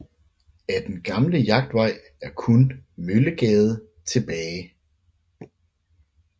Af den gamle Jagtvej er kun Møllegade tilbage